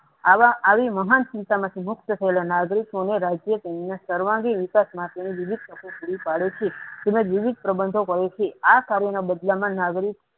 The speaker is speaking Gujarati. આવા આવી મહાન સ્મિતા માંથી મુક્ત થયેલો નાગરિક રાજ્ય તેમને સર્વાંગી વિકાશ માટે વિવિધ તકો પુરી પડે છે તેના વિવિધ પ્રબંધો આ કર્યો ના બદલ માં નાગરિક